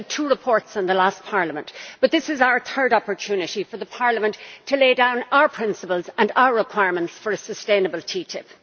We had two reports in the last parliament, but this is our third opportunity for Parliament to lay down our principles and our requirements for a sustainable TTIP.